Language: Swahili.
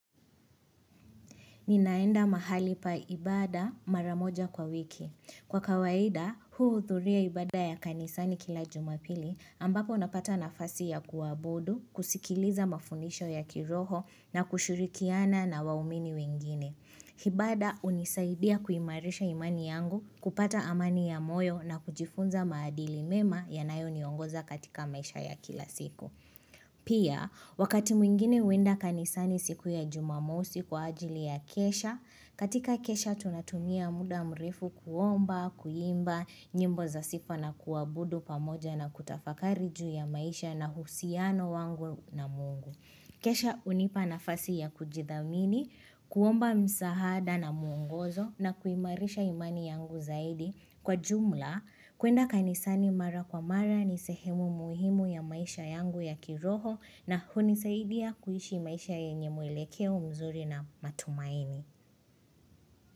Ninaenda mahali pa ibada maramoja kwa wiki. Kwa kawaida, huu huthuria ibada ya kanisani kila jumapili ambapo unapata nafasi ya kuabudu, kusikiliza mafundisho ya kiroho na kushirikiana na waumini wengine. Ibada hunisaidia kuimarisha imani yangu kupata amani ya moyo na kujifunza maadili mema ya nayo niongoza katika maisha ya kila siku. Pia, wakati mwingine huenda kanisani siku ya jumamosi kwa ajili ya kesha katika kesha tunatumia muda mrefu kuomba, kuimba, nyimbo za sifa na kuabudu pamoja na kutafakari juu ya maisha na husiano wangu na mungu Kesha hunipa nafasi ya kujithamini, kuomba msaada na mwongozo na kuimarisha imani yangu zaidi Kwa jumla, kuenda kanisani mara kwa mara ni sehemu muhimu ya maisha yangu ya kiroho na huni saidia kuishi maisha yenye mwelekeo mzuri na matumaini.